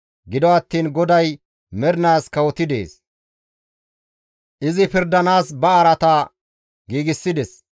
Gido attiin GODAY mernaas kawotidi dees; izi pirdanaas ba araata giigsides.